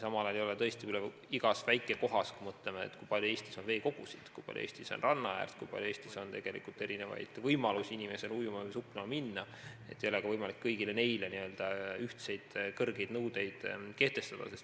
Samal ajal, kui me mõtleme, kui palju Eestis on veekogusid, kui palju Eestis on rannaäärt, kui palju Eestis on erinevaid võimalusi ujuma või suplema minna, siis on arusaadav, et ei ole võimalik kõigile neile ühtseid kõrgeid nõudeid kehtestada.